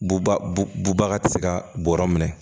Buba bubaga ti se ka bɔrɔ minɛ